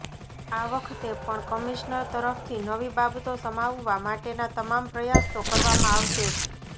આ વખતે પણ કમિશનર તરફથી નવી બાબતો સમાવવા માટેનાં તમામ પ્રયાસ તો કરવામાં આવશે જ